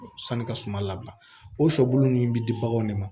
Sanni ka suma labila o sɔbulu ninnu bɛ di baganw de ma